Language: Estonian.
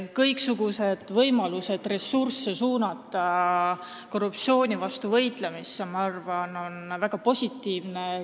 Kõiksugused võimalused suunata ressursse korruptsiooni vastu võitlemisse, ma arvan, on väga positiivsed.